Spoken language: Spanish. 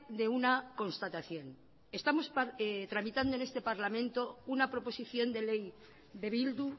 de una constatación estamos tramitando en este parlamento una proposición de ley de bildu